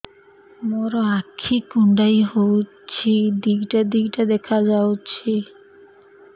ମୋର ଆଖି କୁଣ୍ଡାଇ ହଉଛି ଦିଇଟା ଦିଇଟା ଦେଖା ଯାଉଛି